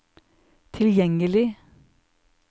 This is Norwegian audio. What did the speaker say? tilgjengelig